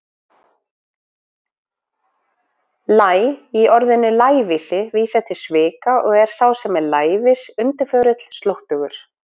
Læ- í orðinu lævísi vísar til svika og er sá sem er lævís undirförull, slóttugur.